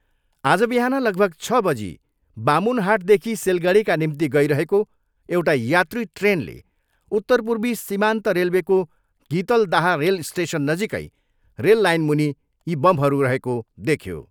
आज बिहान लगभग छ बजी बामुनहाटदेखि सिलगढीका निम्ति गइरहेको एउटा यात्री ट्रेनले उत्तरपूर्वी सामान्त रेल्वेको गितहदाह रेल स्टेसननजिकै रेल लाइनमुनि यी बमहरू रहेको देख्यो।